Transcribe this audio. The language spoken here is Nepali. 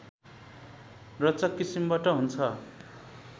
रोचक किसिमबाट हुन्छ